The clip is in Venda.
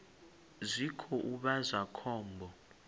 zwi khou vha zwa khombo